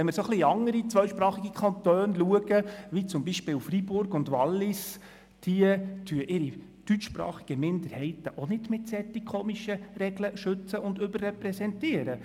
Wenn man in andere zweisprachige Kantone schaut, wie beispielsweise Freiburg und Wallis, stellt man fest, dass diese ihre deutschsprachigen Minderheiten auch nicht mit so merkwürdigen Regeln schützen und überrepräsentieren.